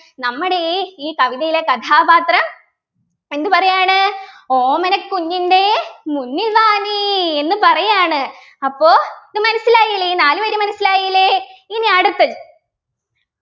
നമ്മുടെ ഈ ഈ കവിതയിലെ കഥാപാത്രം എന്തുപറയാണ് ഓമന കുഞ്ഞിൻ്റെ മുന്നിൽ വാ നീ എന്ന് പറയാണ് അപ്പൊ ഇത് മനസിലായില്ലേ ഈ നാലുവരി മനസ്സിലായില്ലേ ഇനി അടുത്തത്